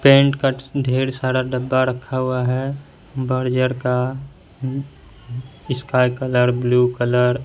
Paint cuts ढेर सारा डब्बा रखा हुआ है बर्जर का उम्म स्काई कलर ब्लू कलर ।